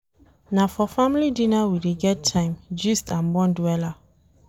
Na for family dinner we dey get time gist and bond wella.